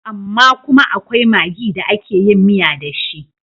Amma kuma akwai magi da ake yin miya da shi.